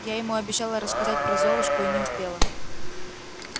я ему обещала рассказать про золушку и не успела